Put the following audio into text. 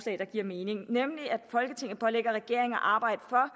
der giver mening nemlig at folketinget pålægger regeringen at arbejde for